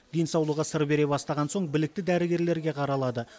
денсаулығы сыр бере бастаған соң білікті дәрігерлерге қаралады